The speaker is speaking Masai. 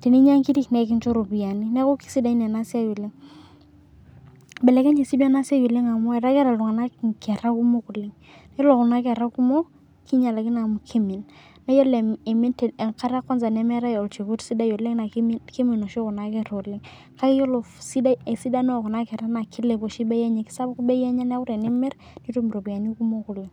teninya inkirik naa ekincho iropiyani, neeku kesidai ena siai oleng'. Ibelekenye sii tii enasiai oleng' amu etaa keeta iltunganak inkera kumok oleng'. Yiolo kuna kerra kumok, kinyialakino amu kiimin. Naa iyiolo iimin enkata e kwanza nemeetai olchekut sidai oleng' naa kiimin oshi kuna kerra oleng'. Kake iyiolo esidano oo kuna kerra naa kiilep oshi bei enye. Kesapuk bei enye neeku tenimir, nitum iropiyiani kumok oleng'.